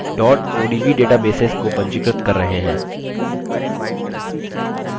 odb databases को पंजीकृत कर रहे हैं